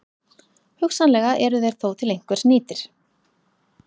Hugsanlega eru þeir þó til einhvers nýtir.